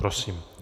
Prosím.